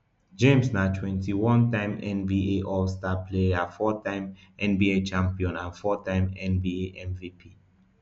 james na twenty-onetime nba allstar player fourtime nba champion and fourtime nba mvp